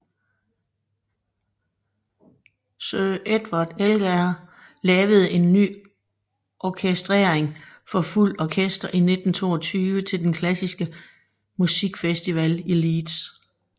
Sir Edward Elgar lavede en ny orkestrering for fuldt orkester i 1922 til den klassiske musikfestival i Leeds